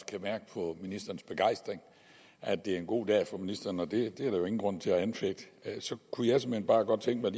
kan mærke på ministerens begejstring at det er en god dag for ministeren det er der jo ingen grund til at anfægte kunne jeg såmænd bare godt tænke